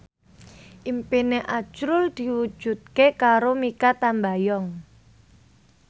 impine azrul diwujudke karo Mikha Tambayong